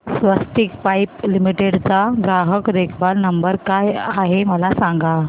स्वस्तिक pipe limited चा ग्राहक देखभाल नंबर काय आहे मला सांगा